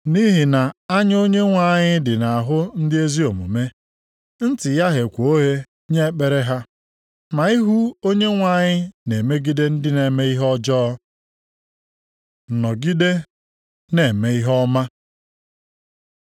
Nʼihi na anya Onyenwe anyị dị nʼahụ ndị ezi omume, ntị ya gheekwa oghe nye ekpere ha, ma ihu Onyenwe anyị na-emegide ndị na-eme ihe ọjọọ.” + 3:12 \+xt Abụ 34:12-16\+xt* Nọgide na-eme ihe ọma